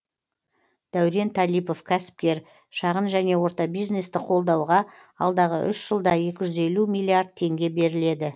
дәурен талипов кәсіпкер шағын және орта бизнесті қолдауға алдағы үш жылда екі жүз елу миллиард теңге беріледі